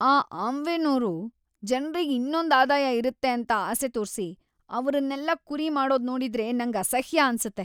ಈ ಆಮ್ವೇನೋರು ಜನ್ರಿಗ್ ಇನ್ನೊಂದ್ ಆದಾಯ ಇರತ್ತೆ ಅಂತ ಆಸೆ ತೋರ್ಸಿ, ಅವ್ರನ್ನೆಲ್ಲ ಕುರಿ ಮಾಡೋದ್ ನೋಡಿದ್ರೆ ನಂಗ್ ಅಸಹ್ಯ ಅನ್ಸತ್ತೆ.